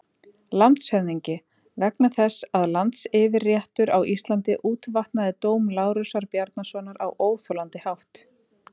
LANDSHÖFÐINGI: Vegna þess að landsyfirréttur á Íslandi útvatnaði dóm Lárusar Bjarnasonar á óþolandi hátt.